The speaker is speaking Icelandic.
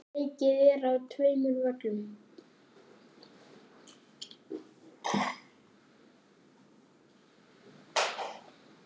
Leikið er á tveimur völlum.